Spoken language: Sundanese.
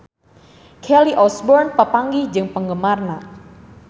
Kelly Osbourne papanggih jeung penggemarna